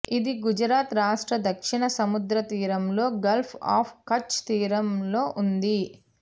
ఇది గుజరాత్ రాష్ట్ర దక్షిణ సముద్రతీరంలో గల్ఫ్ ఆఫ్ కచ్ తీరంలో ఉంది